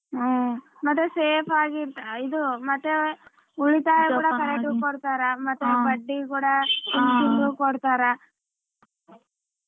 ಹ್ಮ್ ಮತ್ತೆ safe ಆಗಿ ಇದು ಮತ್ತೆ ಉಳಿತಾಯ ಕೂಡ correct ಕೂಡತಾರ ಮತ್ತೆ ಬಡ್ಡಿ ಕೂಡ ತಿಂಗ್ತಿಂಗಳು ಕೊಡ್ತಾರ.